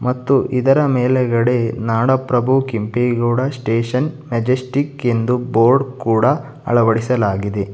ಮತ್ತು ಇದರ ಮೇಲುಗಡೆ ನಾಡಪ್ರಭು ಕೆಂಪೇಗೌಡ ಸ್ಟೇಷನ್ ಮೆಜೆಸ್ಟಿಕ್ ಎಂದು ಬೋರ್ಡ್ ಕೂಡ ಅಳವಡಿಸಲಾಗಿದೆ.